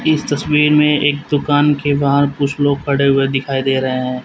इस तस्वीर में एक दुकान के बाहर कुछ लोग खड़े हुए दिखाई दे रहे हैं।